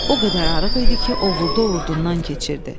O qədər arıq idi ki, ovurdu ovurdundan keçirdi.